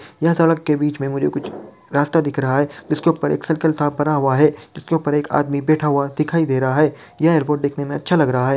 यह सड़क के बीच में मुझे कुछ रास्ता दिख रहा है जिसके ऊपर एक सर्कल सा बना हुआ है जिसके ऊपर एक आदमी बैठा हुआ दिखाई दे रहा है यह एयरपोर्ट देखने में अच्छा लग रहा है।